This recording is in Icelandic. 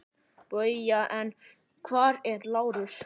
BAUJA: En hvar er Lárus?